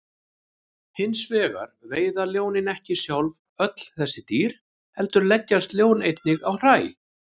Hins vegar veiða ljónin ekki sjálf öll þessi dýr heldur leggjast ljón einnig á hræ.